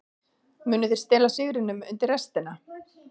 Munu þeir stela sigrinum undir restina?